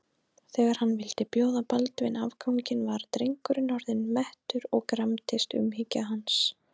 Þegar hann vildi bjóða Baldvin afganginn var drengurinn orðinn mettur og gramdist umhyggja hans.